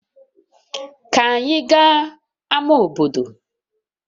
Ka anyị gaa ama obodo